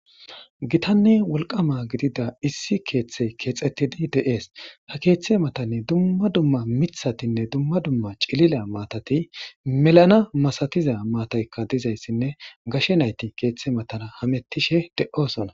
Gitanne wolqama gidida issi keeththey keexettidi de'ees ta keeththe matanni dumma dumma mithatinne dumma dumma cilila maatati melana masatiza maataykka dizayssinne gashe nayti keeththe matana hamettishe de7osona.